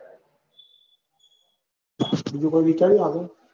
બીજું કોઈ વિચાર્યું આગળ?